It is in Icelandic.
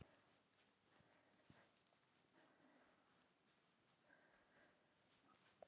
Það skiptir samt engu,